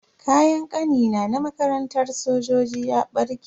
Kayan Kanina na makarantar sojoji ya barke.